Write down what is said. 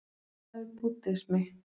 Hvað er búddismi?